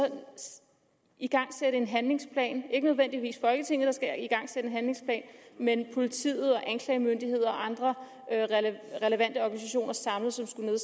igangsætte en handlingsplan det ikke nødvendigvis folketinget der skal igangsætte en handlingsplan men politiet og anklagemyndighed og andre relevante organisationer samlet